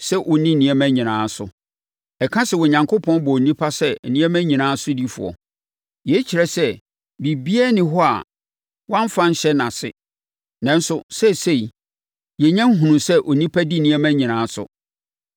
sɛ ɔnni nneɛma nyinaa so.” Ɛka sɛ Onyankopɔn bɔɔ onipa sɛ “nneɛma nyinaa sodifoɔ.” Yei kyerɛ sɛ biribiara nni hɔ a wɔamfa anhyɛ nʼase. Nanso, seesei yɛnya nhunuu sɛ onipa di nneɛma nyinaa so.